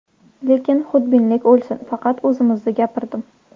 Lekin xudbinlik o‘lsin, faqat o‘zimni gapirdim.